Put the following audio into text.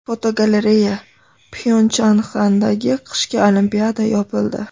Fotogalereya: Pxyonchxandagi qishki Olimpiada yopildi .